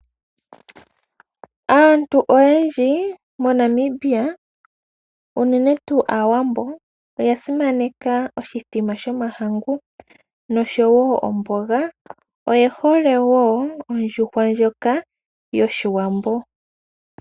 Aantu oyendji mo Namibia unene tuu aawambo oya simananeka oshimbombo shomahangu nosho woo omboga . Oye hole woo ondjuhwa ndjoka yoshiwambo.